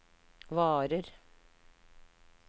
varer